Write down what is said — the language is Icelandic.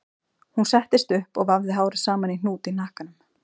Hún settist upp og vafði hárið saman í hnút í hnakkanum